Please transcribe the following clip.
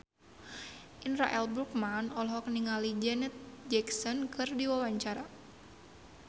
Indra L. Bruggman olohok ningali Janet Jackson keur diwawancara